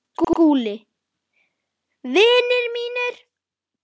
SKÚLI: Vinir mínir!